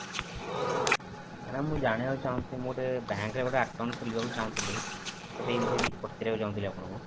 madam ମୁଁ ଜାଣିବାକୁ ଚାହୁଁଥିଲି ମୁଁ ଗୋଟେ bank ରେ account ଖୋଲିବାକୁ ଚାହୁଁଥିଲି ତ ସେଇ ବିଷୟରେ କିଛି ପଚାରିବାକୁ ଚାହୁଁଥିଲି ଆପଣଙ୍କୁ